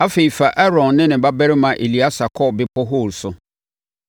Afei, fa Aaron ne ne babarima Eleasa kɔ Bepɔ Hor so.